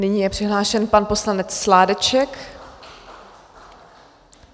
Nyní je přihlášen pan poslanec Sládeček.